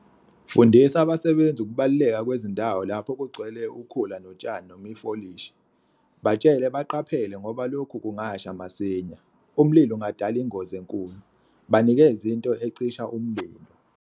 Fundisa abasebenzi ukubaluleka kwezindawo lapho kugcwele ukhula notshani noma ifolishi. Batshele baqaphele ngoba lokhu kungasha masinya, umlilo ungadala ingozi enkulu. Banikeze into ecisha umlilo.